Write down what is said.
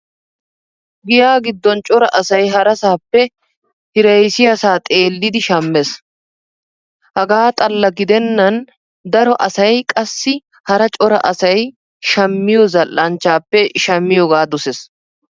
Giya giddon cora asay harasaappe hiraysiyaasaa xeellidi shamees. Hegaa xalla gidennan daro asay qassi hara cora asay shammiyoo zal"anchchaappe shammiyoogaa doses.